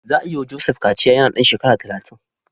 Za a yi wa Joseph kaciya yana ɗan shekara talatin.